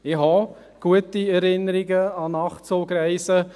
Auch ich habe gute Erinnerungen an Nachtzugreisen.